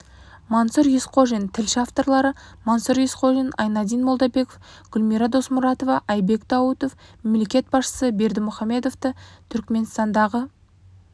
мансұр есқожин тілші авторлары мансұр есқожин айнадин молдабеков гүлмира досмұратова айбек даутов мемлекет басшысы бердімұхамедовті түрікменстандағы